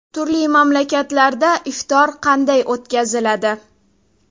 Turli mamlakatlarda iftor qanday o‘tkaziladi?